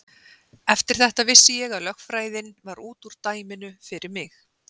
Eftir þetta vissi ég að lögfræðin var út úr dæminu fyrir mig.